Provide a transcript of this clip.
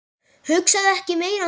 Hugsaðu ekki meira um það.